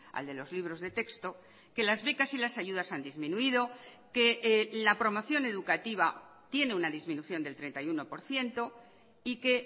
al de los libros de texto que las becas y las ayudas han disminuido que la promoción educativa tiene una disminución del treinta y uno por ciento y que